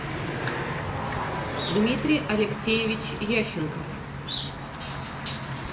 дмитрий алексеевич ященков